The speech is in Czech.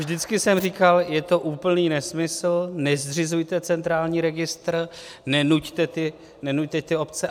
Vždycky jsem říkal: je to úplný nesmysl, nezřizujte centrální registr, nenuťte ty obce.